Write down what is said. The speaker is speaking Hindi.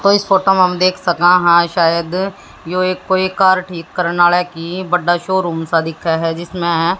तो इस फोटो में हम देख सका हां शायद यो एक कोई कार ठीक करना वाला की बड़ा शो रूम सा दिखे है जिसमें--